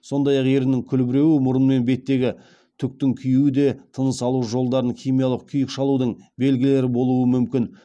сондай ақ еріннің күлбіреуі мұрын мен беттегі түктің күюі де тыныс алу жолдарын химиялық күйік шалудың белгілері болуы мүмкін